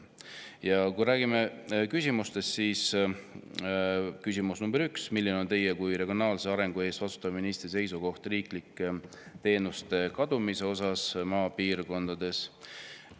Ja kui räägime küsimustest, siis küsimus nr 1: "Milline on Teie kui regionaalse arengu eest vastutava ministri seisukoht riiklike teenuste kadumise osas maapiirkondadest?